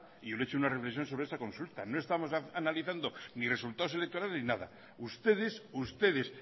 y le he hecho una reflexión sobre esa consulta no estamos analizando ni resultados electorales ni nada ustedes ustedes